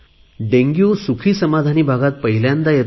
dengue सुखीसमाधानी भागात पहिल्यांदा येतो